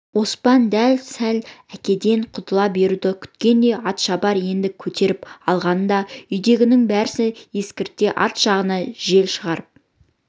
оспан дәл сол әкеден құтыла беруді күткендей атшабар енді көтеріп алғанда үйдегінің бәріне естірте арт жағынан жел шығарып